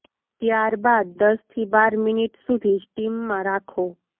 ત્યાર બાદ દસ થી બાર મિનિટ સુધી સ્ટીમ માં રાખો